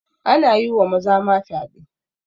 Ana yi wa maza ma fyaɗe